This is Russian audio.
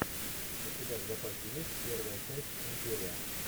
у тебя в запасе есть первая часть империя